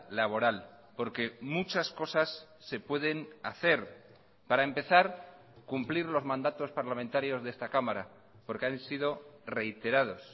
laboral porque muchas cosas se pueden hacer para empezar cumplir los mandatos parlamentarios de esta cámara porque han sido reiterados